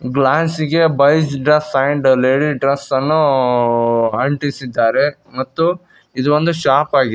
ಗ್ಲಾಸಿಗೆ boys dress and ladies dress ಅನ್ನು ಅಂಟಿಸಿದ್ದಾರೆ ಮತ್ತು ಇದು ಒಂದು ಶಾಪ್ ಆಗಿದ್--